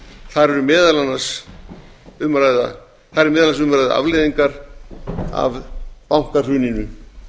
þar er meðal annars um að ræða afleiðingar af bankahruninu